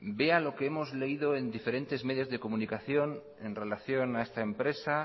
vean lo que hemos leído en diferentes medios de comunicación en relación a esta empresa